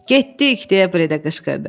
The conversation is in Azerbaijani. Getdik, deyə Bredə qışqırdı.